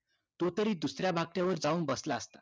तो तरी दुसऱ्या बाकड्यावर जाऊन बसला असता